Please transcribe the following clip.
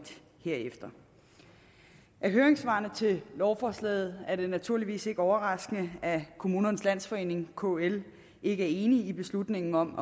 herefter af høringssvarene til lovforslaget er det naturligvis ikke overraskende at se at kommunernes landsforening kl ikke er enig i beslutningen om